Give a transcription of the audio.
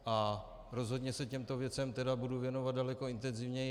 A rozhodně se těmto věcem tedy budu věnovat daleko intenzivněji.